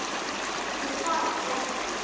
Ég svaraði því ekki.